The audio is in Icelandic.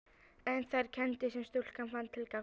En þær kenndir sem stúlkan fann til gagnvart